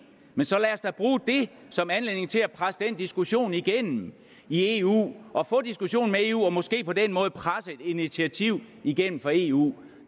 men så lad os da bruge det som anledning til at presse den diskussion igennem i eu og få diskussionen med eu og måske på den måde presse et initiativ igennem fra eu